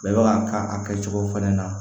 Bɛɛ b'a k'a kɛcogo fɛnɛ na